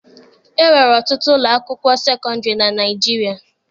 E nwere ọtụtụ ụlọ akwụkwọ sekọndịrị na Naịjirịa.